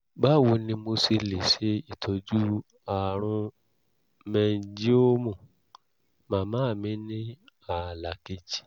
báwo ni mo ṣe lè ṣe ìtọ́jú àrùn mẹ́ńńgíọ́ọ̀mù màmá mi ní ààlà kejì?